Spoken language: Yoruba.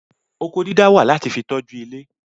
Oko dídá wà láti fi tọ́jú ilé